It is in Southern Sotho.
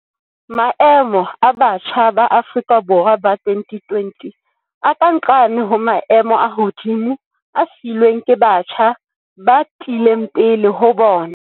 Maemo a batjha ba Afrika Borwa ba 2020 a ka nqane ho maemo a hodimo a siilweng ke batjha ba tlileng pele ho bona.